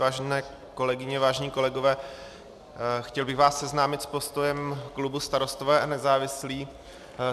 Vážené kolegyně, vážení kolegové, chtěl bych vás seznámit s postojem klubů Starostové a nezávislí.